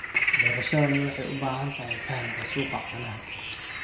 Beerashadani waxay u baahan tahay fahamka suuqa caanaha.